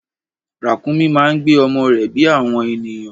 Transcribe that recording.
Ràkúnmí máa ń gbé ọmọ rẹ bí àwọn ènìyàn.